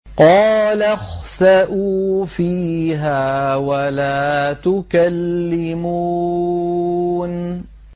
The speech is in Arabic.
قَالَ اخْسَئُوا فِيهَا وَلَا تُكَلِّمُونِ